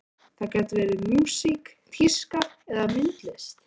Það gat verið músík, tíska eða myndlist.